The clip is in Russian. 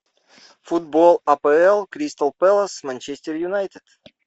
футбол апл кристал пэлас манчестер юнайтед